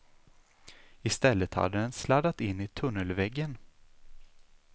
Istället hade den sladdat in i tunnelväggen.